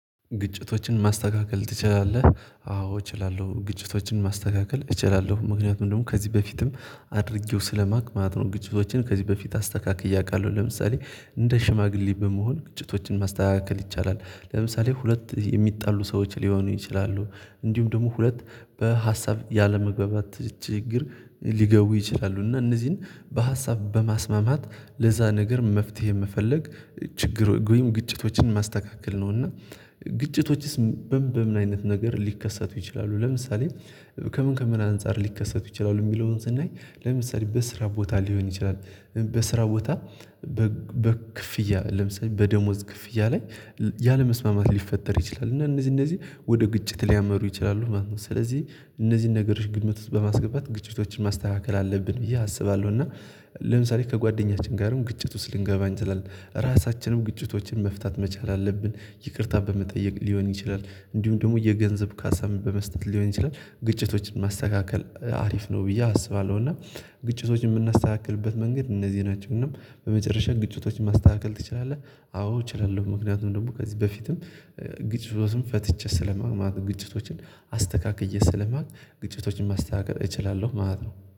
ግጭቶችን ማስተካከል ትችላለህ? አዎ እችላለሁ ግጭቶችን ማስተካከል እችላለሁ ምክንያቱም ደግሞ ከዚህ በፊትም አድርጌው ስለማውቅ ማለት ነው። ግጭቶችን ከዚህ በፊት አስተካክያ አውቃለሁ። ለምሳሌ እንደ ሽማግሌ በመሆን ግጭቶችን ማስተካከል ይቻላል ለምሳሌ ሁለት የሚጣሉ ሰዎች ሊሆኑ ይችላሉ እንዲሁም ደግሞ ሁለት በሀሳብ ያለመግባባት ችግር ሊገቡ ይችላሉ እና እነዚህን በሀሳብ በማስማማት ለዛ ነገር መፍትሄ መፈለግ ችግር ወይም ግጭቶችን ማስተካከል ነው። እና ግጭቶችስ በምን በምን አይነት ነገር ሊከሰቱ ይችላሉ? ለምሳሌ ከምን ከምን አንፃር ሊከሰቱ ይችላሉ? የሚለውን ስናይ ለምሳሌ በስራ ቦታ ሊሆን ይችላል። በስራ ቦታ በክፍያ ለምሳሌ በደሞዝ ክፍያ ላይ ያለመስማማት ሊፈጠር ይችላል እና እነዚህ እነዚህ ወደ ግጭት ሊያመሩ ይችላሉ ማለት ነው። ስለዚህ እነዚህን ነገሮች ግምት ውስጥ በማስገባት ግጭቶችን ማስተካከል አለብን ብዬ አስባለሁ። እና ለምሳሌ ከጓደኛችን ጋርም ግጭት ውስጥ ልንገባ አንችላለን ራሳችንም ግጭቶችን መፍታት መቻል አለብን። ይቅርታ በመጠየቅ ሊሆን ይችላል እንዲሁም ደግሞ የገንዘብ ካሳም በመስጠት ሊሆን ይችላል ግጭቶችን ማስተካከል አሪፍ ነው ብዬ አስባለሁ። እና ግጭቶችን የምናስተካክልበት መንገድ እነዚህ ናቸው። እና በመጨረሻ ግጭቶችን ማስተካከል ትችላለህ? አዎ እችላለሁ ምክንያቱም ደግሞ ከዚህ በፊትም ግጭቶችን ፈትቼ ስለማውች ማለት ነው። ግጭቶችን አስተካክዬ ስለማማት ግጭቶችን ማስተካከል እችላለሁ ማለት ነው